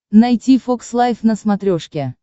найти фокс лайв на смотрешке